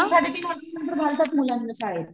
तीन सडे तीन वर्षानंतर घालतात मुलांना शाळेत.